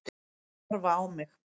Þau horfa á mig.